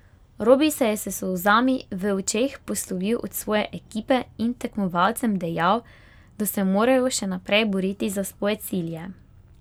Robi se je s solzami v očeh poslovil od svoje ekipe in tekmovalcem dejal, da se morajo še naprej boriti za svoje cilje.